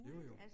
Jo jo